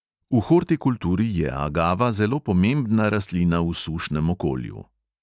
V hortikulturi je agava zelo pomembna rastlina v sušnem okolju.